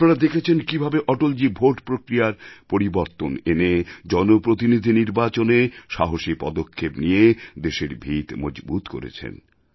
আপনারা দেখেছেন কীভাবে অটলজী ভোট প্রক্রিয়ায় পরিবর্তন এনে জনপ্রতিনিধি নির্বাচনে সাহসী পদক্ষেপ নিয়ে দেশের ভিত মজবুত করেছেন